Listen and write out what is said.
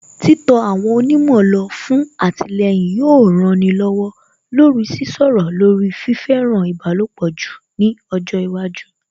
Títọ àwọn onímọ̀ lọ fún àtìlẹyìn yóò rani lọ́wọ́ lórí Sísọ̀rọ̀ lórí fífẹ́ràn ìbálòpọ̀ jù ní ọjọ́ iwájú